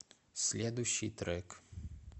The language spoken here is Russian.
следующий трек